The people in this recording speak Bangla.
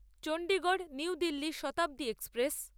Chandigarh new Delhi Shatabdi express